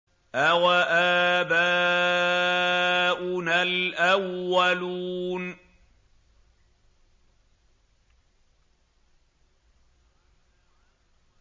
أَوَآبَاؤُنَا الْأَوَّلُونَ